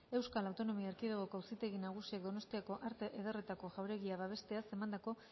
euskal autonomia erkidegoko auzitegi nagusiak donostiako arte ederretako jauregia babesteaz emandako